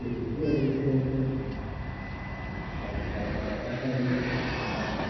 izvi zvinodetsere kuti pachipatara pashandike zvakanaka.